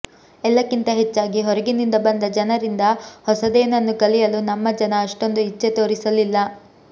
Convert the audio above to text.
ಎಲ್ಲಕ್ಕಿಂತ ಹೆಚ್ಚಾಗಿ ಹೊರಗಿನಿಂದ ಬಂದ ಜನರಿಂದ ಹೊಸದೇನನ್ನೂ ಕಲಿಯಲು ನಮ್ಮ ಜನ ಅಷ್ಟೊಂದು ಇಚ್ಛೆ ತೋರಿಸಲಿಲ್ಲ